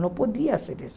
Não podia ser